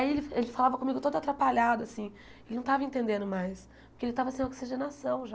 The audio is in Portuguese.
Aí ele ele falava comigo todo atrapalhado, assim, ele não estava entendendo mais, porque ele estava sem oxigenação já.